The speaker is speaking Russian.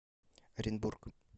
оренбург